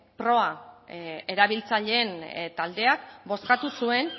proa erabiltzaileen taldeak bozkatu zuen